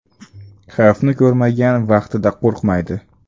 Xavfni ko‘rmagan vaqtida qo‘rqmaydi.